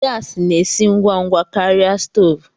Gasi na-esi ngwa ngwa karịa stoovu.